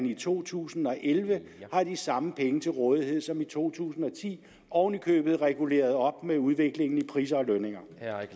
i to tusind og elleve har de samme penge til rådighed som i to tusind og ti oven i købet reguleret op med udviklingen i priser og lønninger